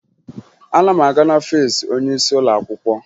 Ana m aga n'ọfiisi onyeisi ụlọakwụkwọ